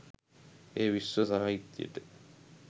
එය විශ්ව සාහිත්‍යයට